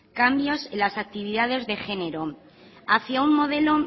cambios en las actividades de género hacia un modelo